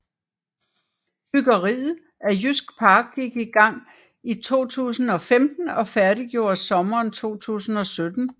Byggeriet af Jysk Park gik i gang i 2015 og færdiggjordes sommeren 2017